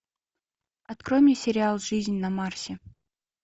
открой мне сериал жизнь на марсе